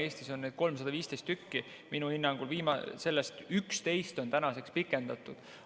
Eestis on neid 315 tükki, minu hinnangul neist 11 on tänaseks pikendatud.